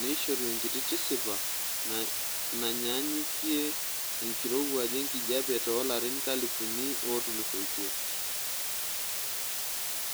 neishoru enkiti tisipa nanyaanukie enkirowuaj enkijiepe toolarin enkalifu ootulusoitie.